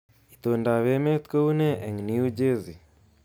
Itondoab emet kounee eng New Jersey